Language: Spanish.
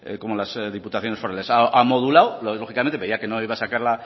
como las diputaciones forales a modulado lógicamente veía que no iba a sacar